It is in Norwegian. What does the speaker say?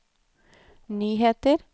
nyheter